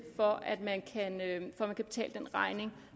for at betale den regning